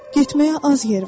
Getməyə az yer var?